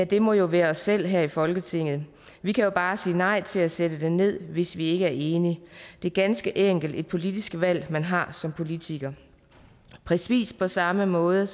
det må jo være os selv her i folketinget vi kan jo bare sige nej til at sætte den ned hvis ikke vi er enige det er ganske enkelt et politisk valg man har som politiker præcis på samme måde